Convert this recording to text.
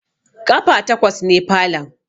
Ƙafa takwas ne falon